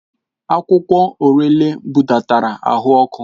Akwụkwọ Orele budatara ahụ ọkụ.